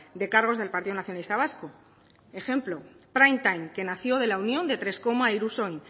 de cargos del partido nacionalista vasco ejemplo prime time que nació de la unión de hiru koma e irusoin